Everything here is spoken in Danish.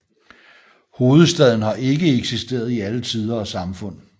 Hovedstaden har ikke eksisteret i alle tider og samfund